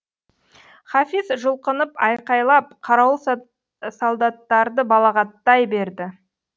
хафиз жұлқынып айқайлап қарауыл солдаттарды балағаттай берді